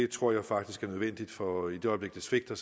tror jeg faktisk er nødvendigt for i det øjeblik det svigter